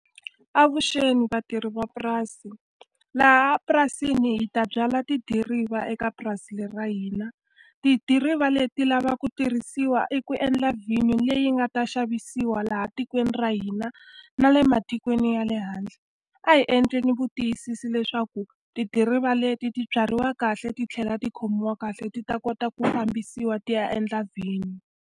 Avuxeni vatirhi mapurasi. Laha purasini hi ta byala tidiriva eka purasini ra hina. Tidiriva leti ti lava ku tirhisiwa i ku endla vhinyo leyi nga ta xavisiwa laha tikweni ra hina, na le matikweni ya le handle. A hi endleni vutiyisisi leswaku tidiriva leti ti byariwa kahle, ti tlhela ti khomiwa kahle ti ta kota ku fambisiwa ti ya endla vhinyo.